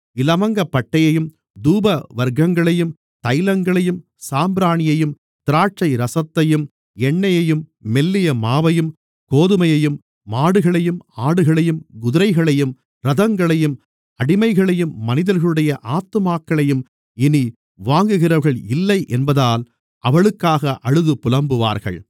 இலவங்கப்பட்டையையும் தூபவர்க்கங்களையும் தைலங்களையும் சாம்பிராணியையும் திராட்சைரசத்தையும் எண்ணெயையும் மெல்லிய மாவையும் கோதுமையையும் மாடுகளையும் ஆடுகளையும் குதிரைகளையும் இரதங்களையும் அடிமைகளையும் மனிதர்களுடைய ஆத்துமாக்களையும் இனி வாங்குகிறவர்கள் இல்லை என்பதால் அவளுக்காக அழுது புலம்புவார்கள்